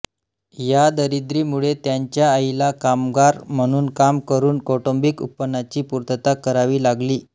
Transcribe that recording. या दरिद्रीमुळे त्यांच्या आईला कामगार म्हणून काम करून कौटुंबिक उत्पन्नाची पूर्तता करावी लागली